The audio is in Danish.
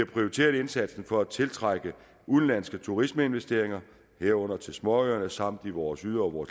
prioriteret indsatsen for at tiltrække udenlandske turismeinvesteringer herunder til småøerne samt i vores yderområder